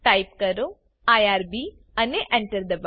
type કરો IRB અને Enter દબાઓ